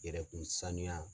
Yɛrɛkun sanuya